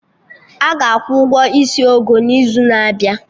Aga akwụ ụgwọ isi Ogo n'izu na-abịa